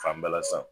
Fan bala san